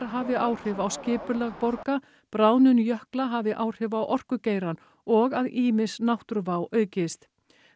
hafi áhrif á skipulag borga bráðnun jökla hafi áhrif á orkugeirann og að ýmis náttúruvá aukist